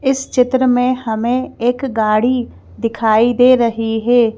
इस चित्र में हमें एक गाड़ी दिखाई दे रही है।